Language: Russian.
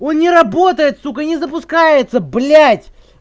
он не работает сука не запускается блять